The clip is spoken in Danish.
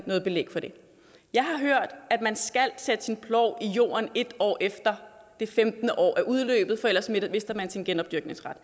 noget belæg for det jeg har hørt at man skal sætte sin plov i jorden et år efter det femtende år er udløbet for ellers mister man sin genopdyrkningsret